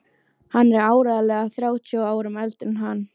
Hún er áreiðanlega þrjátíu árum eldri en hann!